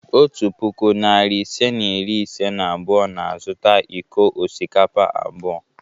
Otu puku, narị ise na iri ise na abụọ na-azụta iko osikapa abụọ.